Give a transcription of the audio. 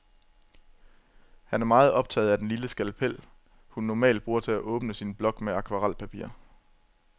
Han er meget optaget af den lille skalpel, hun normalt bruger til at åbne sin blok med akvarelpapir.